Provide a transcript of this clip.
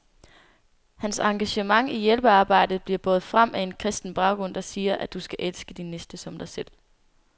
Hans engagement i hjælpearbejdet bliver båret frem af en kristen baggrund, der siger, at du skal elske din næste som dig selv.